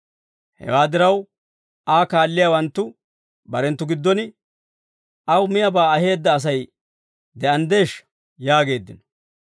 Hewaa diraw, Aa kaalliyaawanttu barenttu giddon, «Aw miyaabaa aheedda Asay de'anddeeshsha?» yaageeddino.